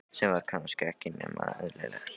Sem var kannski ekki nema eðlilegt.